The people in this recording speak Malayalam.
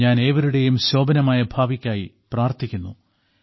ഞാൻ ഏവരുടെയും ശോഭനമായ ഭാവിക്കായി പ്രാർത്ഥിക്കുന്നു